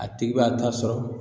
A tigi b'a ta sɔrɔ